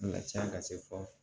A ka ca ka se fɔ